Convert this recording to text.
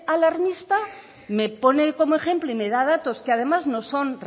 alarmista me pone como ejemplo y me da datos que además no son